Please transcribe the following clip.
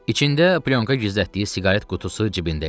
İçində plyonka gizlətdiyi siqaret qutusu cibində idi.